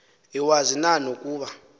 iwazi na nokuba